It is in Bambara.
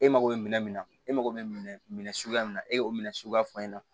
E mago bɛ minɛn min na e mago bɛ min suguya min na e y'o minɛ suguya fɔ n ɲɛna